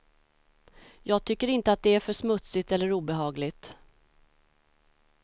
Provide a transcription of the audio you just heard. Jag tycker inte att det är för smutsigt eller obehagligt.